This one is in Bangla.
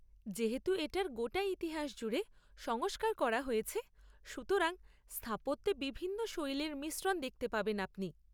যেহেতু এটার গোটা ইতিহাস জুড়ে সংস্কার করা হয়েছে সুতরাং স্থাপত্যে বিভিন্ন শৈলীর মিশ্রণ দেখতে পাবেন আপনি।